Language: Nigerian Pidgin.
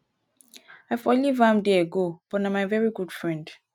i for leave am there go but na my very good friend.